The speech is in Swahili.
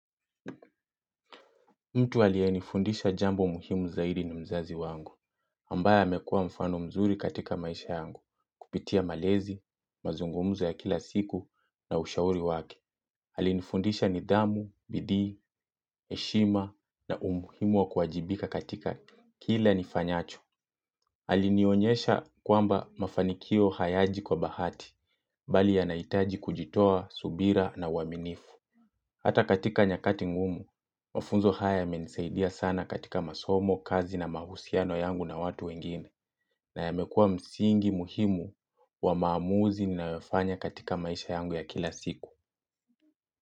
Mtu aliyenifundisha jambo muhimu zaidi ni mzazi wangu, ambaye amekua mfano mzuri katika maisha yangu, kupitia malezi, mazungumzo ya kila siku na ushauri wake. Alinifundisha nidhamu, bidii, heshima na umuhimu wa kuwajibika katika kila nifanyacho Alinionyesha kwamba mafanikio hayaji kwa bahati, mbali yanahitaji kujitoa subira na uaminifu. Hata katika nyakati ngumu, mafunzo haya yamenisaidia sana katika masomo, kazi na mahusiano yangu na watu wengine na yamekua msingi muhimu wa maamuzi ninayofanya katika maisha yangu ya kila siku.